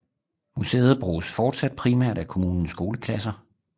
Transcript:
Museet bruges fortsat primært af kommunens skoleklasser